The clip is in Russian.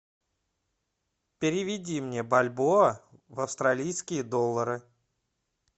переведи мне бальбоа в австралийские доллары